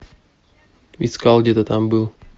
искал где то там был